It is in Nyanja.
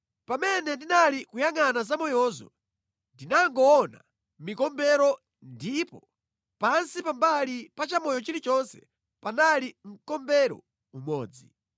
Pamene ndinali kuyangʼana zamoyozo, ndinangoona mikombero ndipo pansi pambali pa chamoyo chilichonse panali mkombero umodzi.